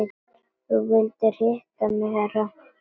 Þú vildir hitta mig herra?